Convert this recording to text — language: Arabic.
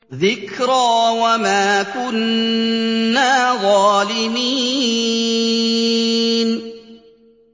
ذِكْرَىٰ وَمَا كُنَّا ظَالِمِينَ